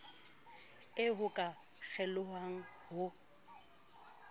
eo ho ka kgelohwang ho